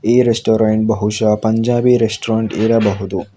ಈ ರೆಸ್ಟೋರೆಂಟ್ ಬಹುಶಃ ಪಂಜಾಬಿ ರೆಸ್ಟೋರೆಂಟ್ ಇರಬಹುದು.